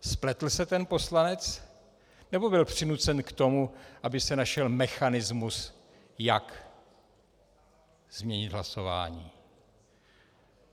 Spletl se ten poslanec, nebo byl přinucen k tomu, aby se našel mechanismus jak změnit hlasování?